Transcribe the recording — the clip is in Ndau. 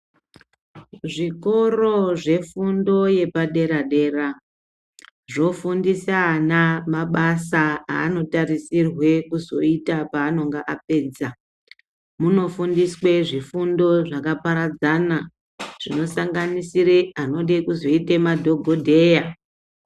Zvikoro zvefundo yepadera-dera zvofundisa ana mabasa anotarisirwe kuzoita panonga apedza. Munofundiswe zvifundo zvakaparadzana zvinosanganisira anode kuzoite madhokodheya.